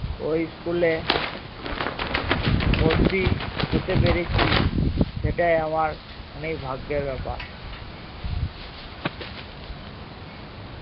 ওই school এ ভর্তি হতে পেরেছি সেটাই আমার অনেক ভাগ্যের ব্যাপার